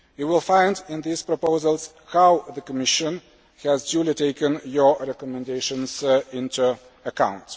You will find in these proposals how the Commission has duly taken your recommendations into account.